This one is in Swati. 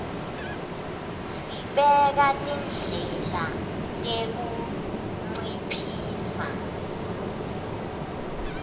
sibeka tindlela tekunciphisa